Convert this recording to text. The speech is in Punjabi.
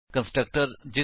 spoken tutorial